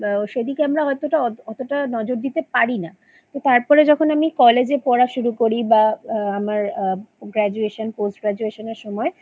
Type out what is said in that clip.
বা সেদিকে আমরা অতটা অতটা নজর দিতে পারি না তারপরে যখন আমি College এ পড়া শুরু করি বা আ আমার আ Graduation পোস্ট graduation এর সময়